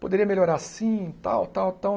poderia melhorar assim, tal, tal, tal.